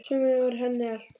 Sumarið var henni allt.